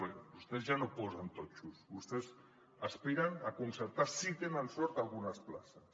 perquè vostès ja no posen totxos vostès aspiren a concertar si tenen sort algunes places